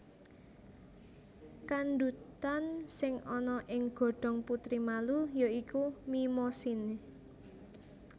Kandhutan sing ana ing godhong putri malu ya iku Mimosine